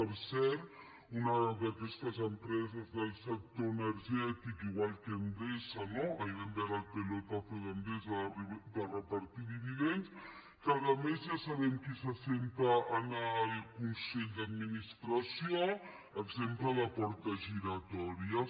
per cert una d’aquestes empreses del sector energètic igual que endesa no ahir vam veure el pelotazo d’endesa de repartir dividends que a més ja sabem qui seu en el consell d’administració exemple de portes giratòries